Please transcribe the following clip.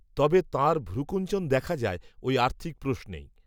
তবে তাঁর ভ্রূকূঞ্চন দেখা যায়, ওই আর্থিক প্রশ্নেই